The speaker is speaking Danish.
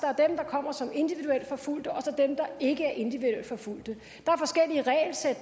der kommer som individuelt forfulgte og så dem der ikke er individuelt forfulgte